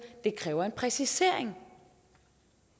det kræver en præcisering